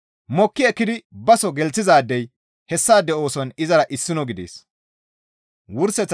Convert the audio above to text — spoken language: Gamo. Mokki ekkidi baso gelththizaadey hessaade ooson izara issino gidees.